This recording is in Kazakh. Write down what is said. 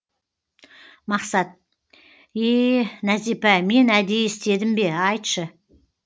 мақсат ее нәзипа мен әдейі істедім бе айтшы